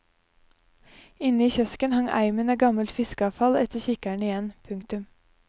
Inne i kiosken hang eimen av gammelt fiskeavfall etter kikkeren igjen. punktum